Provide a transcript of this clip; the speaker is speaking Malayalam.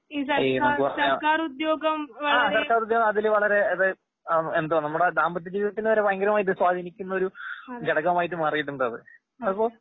ഈ ആ സർക്കാരുദ്യോഗം അതിൽവളരെ അത് ആന്നു എന്ത്വാ നമ്മുടെ ദാമ്പത്യജീവിതത്തിനുവരെ ഭയങ്കരമായിട്ട് സ്വാധീനിക്കുന്നൊരു ഘടകമായിട്ട്മാറീട്ടുണ്ടത്. അപൊ